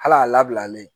Hal'a labilalen